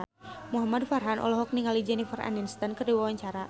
Muhamad Farhan olohok ningali Jennifer Aniston keur diwawancara